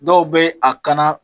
Dɔw be a kana